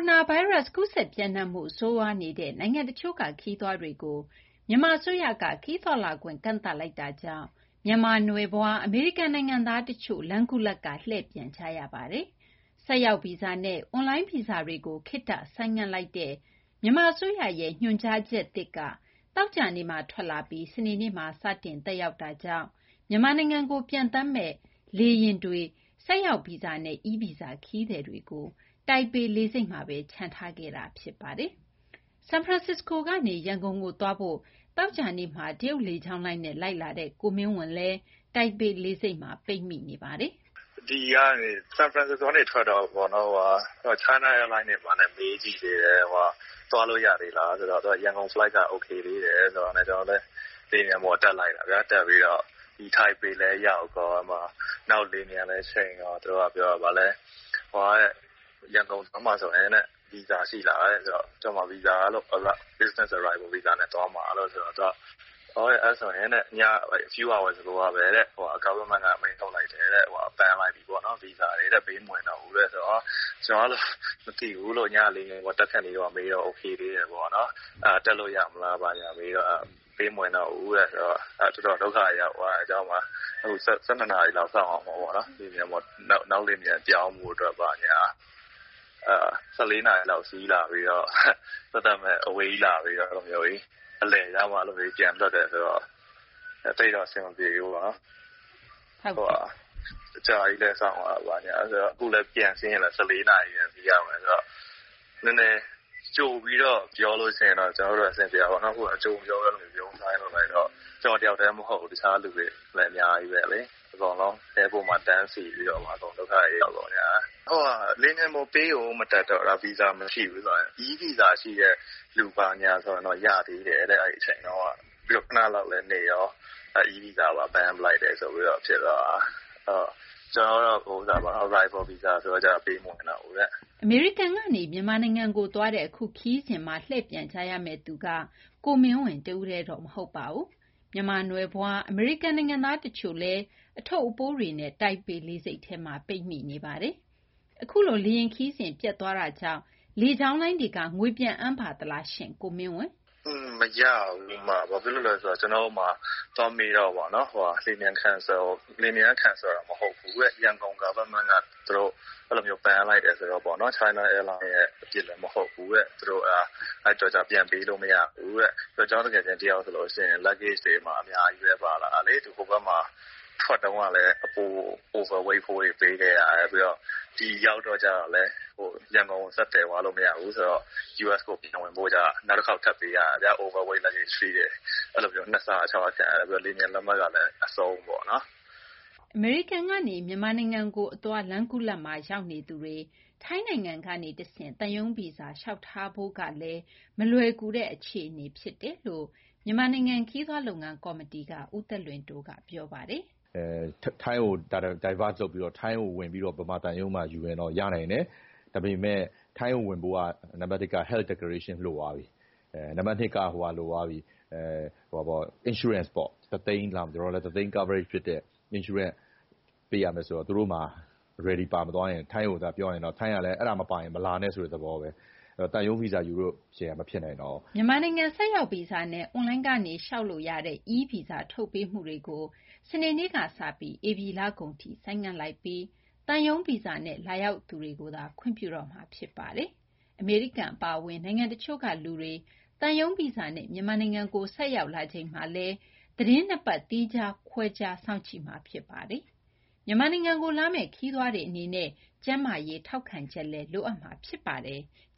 ုနာဗိုင်းရပ်စ် ကူးစက်ပျံ့နှံ့မှု ဆိုးရွားနေတဲ့ နိုင်ငံတချို့က ခရီးသွားတွေကို မြန်မာအစိုးရက ဗီဇာထုတ်ပေးမှု ကန့်သတ်လိုက်တာကြောင့် မြန်မာနွယ်ဖွား အမေရိကန်နိုင်ငံသားတချို့ လမ်းခုလတ်က လှည့်ပြန်နေကြရပါတယ်။ အပြည့်အစုံကို မသိင်္ဂီထိုက်က တင်ပြပေးထားပါတယ်။ ဆိုက်ရောက်ဗီဇာနဲ့ အွန်လိုင်းဗီဇာတွေကို ခေတ္တဆိုင်းငံ့လိုက်တဲ့ မြန်မာအစိုးရရဲ့ ညွှန်ကြားချက်သစ်က သောကြာနေ့မှာ ထွက်လာပြီး စနေနေ့မှာ စတင် သက်ရောက်တာကြောင့် မြန်မာနိုင်ငံကို ပျံသန်းမယ့် လေယာဉ်တွေက ဆိုက်ရောက်ဗီဇာနဲ့ E Visa ခရီးသည်တွေကို တိုင်ပေလေဆိပ်မှာပဲ ချန်ထားခဲ့တာ ဖြစ်ပါတယ်။ ဆန်ဖရန်စစ္စကိုကနေ ရန်ကုန်သွားဖို့ သောကြာနေ့က တရုတ်လေကြောင်းလိုင်းနဲ့ လိုက်လာတဲ့ ကိုမင်းဝဏ်လည်း တိုင်ပေလေဆိပ်မှာ ပိတ်မိနေပါတယ်။ “ဆန်ဖရန်စစ္စကိုကနေ ထွက်တော့ China Airline နဲ့ မေးကြည့်သေးတယ်။ သွားလို့ရသေးလားဆိုတော့ သူတို့က ရန်ကုန် Flight က အိုကေသေးတယ် ဆိုတာနဲ့ ကျနော်လည်း လေယာဉ်ပျံပေါ်တက်ပြီး လိုက်လာတာ။ ဒီ တိုင်ပေလည်း ရောက်ပြီး လေယာဉ်ပျံလည်းဆင်းရော သူတို့က ရန်ကုန်သွားမှာဆိုရင် ဗီဇာရှိလားတဲ့၊ ကျနော်က Business Arrival Visa နဲ့ သွားမှာဆိုတော့ သူတို့က အဲဒါဆိုရင် ညကပဲ Government က အမိန့်ထုတ်လိုက်တယ်တဲ့၊ Ban လိုက်ပြီတဲ့၊ ဗီဇာတွေ ပေးမဝင်တော့ဘူးတဲ့။ ဆိုတော့ မသိဘူးလို့၊ ညက လေယာဉ်ပေါ်တက်ခါနီး မေးတော့ အိုကေသေးတယ်ပေါ့။ အဲဒါ တက်လို့ရမလား မေးတော့ ပေးမဝင်တော့ဘူးတဲ့။ “အဲတော့ ကျနော် တော်တော် ဒုက္ခရောက်သွားတယ်။ အခု ၁၂ နာရီလောက် စောင့်ရမှာပေါ့၊ နောက်လေယာဉ်ပျံ ပြောင်းဖို့အတွက်က။ ၁၄ နာရီလောက် စီးလာပြီးတော့ သက်သက်မဲ့ အဝေးကြီး လာပြီးတော့ အဲလိုမျိုး အလယ်ရောက်မှ ပြန်လွှတ်တယ်ဆိုတော့ သိပ်တော့ အဆင်မပြေဘူးပေါ့။ အကြာကြီးလည်း စောင့်ရဦးမယ်။ အခုလည်း ပြန်စီးရင် ၁၄ နာရီ စီးရမယ်ဆိုတော့၊ နည်းနည်း ကြိုပြီးတော့ ပြောရင်တော့ ကျနော်တို့လည်း အဆင်ပြေတာပေါ့။ အခုတော့ ကြိုမပြောဘဲ အဲလို ဗြုန်းစားကြီး လုပ်လိုက်တော့ ကျနော်တယောက်တည်း မဟုတ်ဘူး၊ တခြားလူတွေလည်း အများကြီးပဲ။ Airport မှာ တန်းစီပြီး အကုန် ဒုက္ခတွေ ရောက်ကုန်ကြတယ်။ လေယာဉ်ပျံပေါ် ပေးကိုမတက်တော့တာ၊ ဗီဇာမရှိဘူးဆိုရင်။ E Visa ရှိတဲ့သူဆိုရင်တော့ ရသေးတယ်တဲ့ အဲဒီအချိန်တုန်းက။ ခနလောက်လည်းနေရာ E Visa ပါ Ban လိုက်တယ်ဆိုပြီး ဖြစ်သွားတာ။ ကျနော်ကတော့ Arrival Visa ဆိုတော့ ပေးမဝင်တော့ဘူးတဲ့။” အမေရိကန်ကနေ မြန်မာနိုင်ငံကိုသွားတဲ့ အခုခရီးစဉ်မှာ လှည့်ပြန်ကြရမယ့်သူက ကိုမင်းဝဏ်တဦးတည်းတော့ မဟုတ်ပါဘူး။ မြန်မာနွယ်ဖွား အမေရိကန်နိုင်ငံသား တချို့လည်း အထုပ်အပိုးတွေနဲ့ တိုင်ပေလေဆိပ်မှာ ပိတ်မိနေပါတယ်။ အခုလို လေယာဉ်ခရီးစဉ် ပျက်သွားတဲ့အတွက် လေကြောင်းလိုင်းက ငွေပြန်အမ်းပါသလားလို့ မေးရာမှတော့ ကိုမင်းဝဏ်က အခုလို ပြောပါတယ်။ “မရဘူး။ ဘာဖြစ်လို့လဲဆိုတော့ ကျနော်သွားမေးတော့ လေယာဉ်ပျံက Cancel မဟုတ်ဘူးတဲ့။ ရန်ကုန် Government က Ban လိုက်တာဆိုတော့ China Airline ရဲ့အပြစ်လည်း မဟုတ်ဘူးတဲ့။ အဲဒီအတွက်ကြောင့် ပြန်ပေးလို့မရဘူးတဲ့။ ကျနော့်သူငယ်ချင်းတယောက်ဆို Luggage တွေ အများကြီးပဲ ပါလာတာ။ သူ ဟိုဘက်မှာ ထွက်တုန်းကလည်း အပို Weight ဖိုးတွေ ပေးခဲ့ရတယ်။ ပြီးတော့ ဒီရောက်တော့လည်း ရန်ကုန်ကို ဆက်သယ်သွားလို့ မရဘူးဆိုတော့ US ကို ပြန်ဝင်ဖို့ကြတော့ နောက်တခေါက် ထပ်ပေးရတယ်၊ Over Weight Luggage Fees တဲ့။ အဲလို နှစ်ဆ ခံရတယ်။ ပြီးတော့ လေယာဉ်ပျံလက်မှတ်ကလည်း အဆုံးပေါ့။” အမေရိကန်ကနေ မြန်မာနိုင်ငံကိုအသွား လမ်းခုလတ်မှာ ရောက်နေသူတွေ ထိုင်းနိုင်ငံကနေတဆင့် သံရုံးဗီဇာ လျှောက်ထားဖို့ကလည်း မလွယ်ကူတဲ့ အခြေအနေ ဖြစ်နေတယ်လို့ မြန်မာနိုင်ငံ ခရီးသွားလုပ်ငန်း ကော်မတီက ဦးသက်လွင်တိုးက ပြောပါတယ်။ “ထိုင်းကို Divert လုပ်ပြီး ထိုင်းကိုဝင်ပြီး မြန်မာသံရုံးမှာ ယူရင်တော့ ရနိုင်တယ်။ ဒါပေမယ့် ထိုင်းကိုဝင်ဖို့က နံပါတ်တစ် Health Declaration လိုသွားပြီ။ နံပါတ်နှစ်က Insurance ပေါ့၊ ဒေါ်လာတသိန်း Coverage ဖြစ်တဲ့ Insurance ပေးရမယ်ဆိုတော့ သူတို့မှာ Ready ပါမသွားရင် ထိုင်းကိုသွားပြောရင်တော့ ထိုင်းကလည်း အဲဒါမပါရင် မလာနဲ့ဆိုတဲ့သဘောပဲ။ အဲတော့ သံရုံးဗီဇာယူဖို့ မဖြစ်နိုင်တော့ဘူး။” မြန်မာနိုင်ငံ ဆိုက်ရောက်ဗီဇာနဲ့ အွန်လိုင်းကနေ လျှောက်ထားလို့ရတဲ့ E Visa ထုတ်ပေးမှုကို စနေနေ့ကစပြီး ဧပြီလကုန်ထိ ဆိုင်းငံ့လိုက်ပြီး သံရုံးဗီဇာနဲ့ လာရောက်သူကိုသာ ခွင့်ပြုတော့မှာ ဖြစ်ပါတယ်။ အမေရိကန် အပါအဝင် နိုင်ငံတချို့ကလူတွေ သံရုံးဗီဇာနဲ့ မြန်မာနိုင်ငံကို ဆိုက်ရောက်လာချိန်မှာ သီတင်း ၂ ပတ် သီးခြားခွဲခြားပြီး ၁၄ ရက်တာ စောင့်ကြည့်မှာ ဖြစ်ပါတယ်။ မြန်မာနိုင်ငံကို လာမယ့် ခရီးသွားတွေအနေနဲ့ ကျန်းမာရေး ထောက်ခံချက်လည်း လိုအပ်မှာ ဖြစ်ပါတယ်။